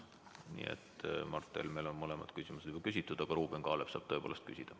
Nii et Mart Helmel on mõlemad küsimused küsitud, aga Ruuben Kaalep saab tõepoolest küsida.